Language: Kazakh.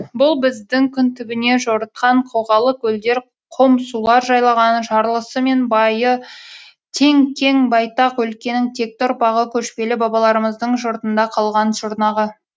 бұл біздің күн түбіне жорытқан қоғалы көлдер қом сулар жайлаған жарлысы мен байы тең кең байтақ өлкенің текті ұрпағы көшпелі бабаларымыздың жұртында қалған жұрнағы